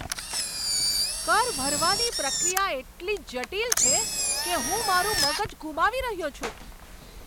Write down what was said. કર ભરવાની પ્રક્રિયા એટલી જટિલ છે કે હું મારું મગજ ગુમાવી રહ્યો છું!